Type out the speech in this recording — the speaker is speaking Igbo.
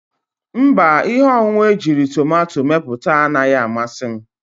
Mba, ihe ọṅụṅụ ejiri tomato mepụta anaghị amasị m.